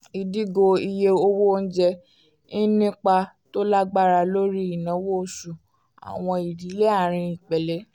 ìdígò iye owó onjẹ ń nípa tó lágbára lórí ináwó oṣù àwọn ìdílé arin ìpele